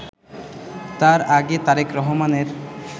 তার আগে তারেক রহমানের